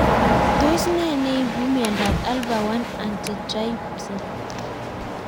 Tos ne neipu miondop Alpha 1 antitrypsin